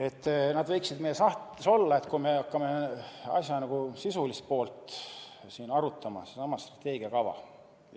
Et nad võiksid meie sahtlites olla, et kui me hakkame asja sisulist poolt siin arutama – sedasama strateegiakava